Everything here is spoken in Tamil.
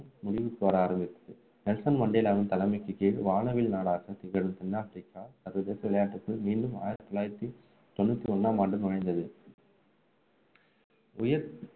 முடிவுக்கு வர ஆரம்பித்தது நெல்சன் மண்டேலாவின் தலைமைக்கு கீழ் வானவில் நாடாக திகழும் தென் ஆப்பிரிக்கா சர்வதேச விளையாட்டுக்குள் மீண்டும் ஆயிரத்து தொள்ளாயிரத்து தொண்ணூற்று ஒன்றாம் ஆண்டு நுழைந்தது உயர்